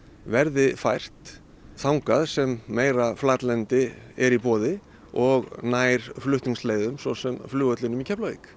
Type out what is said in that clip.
verði fært þangað sem meira flatlendi er í boði og nær flutningsleiðum svo sem flugvellinum í Keflavík